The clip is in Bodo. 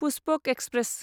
पुष्पक एक्सप्रेस